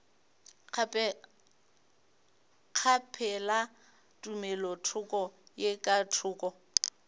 kgaphela tumelothoko ye ka thoko